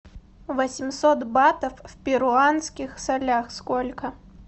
восемьсот батов в перуанских солях сколько